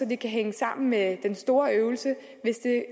det kan hænge sammen med den store øvelse hvis det